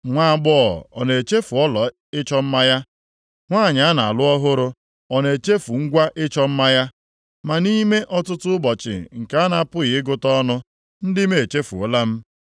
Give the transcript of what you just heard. Nwaagbọghọ ọ na-echefu ọla ịchọ mma ya, nwanyị a na-alụ ọhụrụ ọ na-echefu ngwa ịchọ mma ya? Ma nʼime ọtụtụ ụbọchị nke a na-apụghị ịgụta ọnụ, ndị m echefuola m.